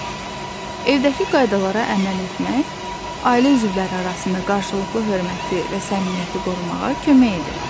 Evdəki qaydalara əməl etmək ailə üzvləri arasında qarşılıqlı hörməti və səmimiyyəti qorumağa kömək edir.